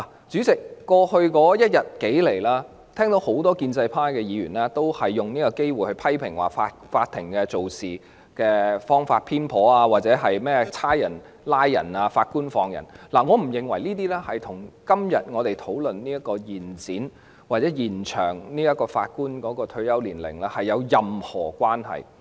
主席，在過去一天，我聽到很多建制派議員都藉此機會批評法庭處事手法偏頗，或者說"警察拉人，法官放人"，我不認為這些與我們今天討論延展法官退休年齡的議題有任何關係。